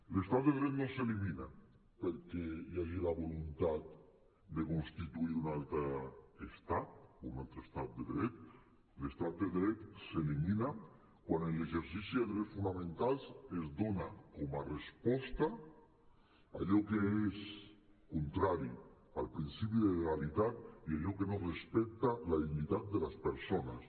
l’estat de dret no s’elimina perquè hi hagi la voluntat de constituir un altre estat un altre estat de dret l’estat de dret s’elimina quan l’exercici de drets fonamentals es dona com a resposta a allò que és contrari al principi de legalitat i allò que no respecta la dignitat de les persones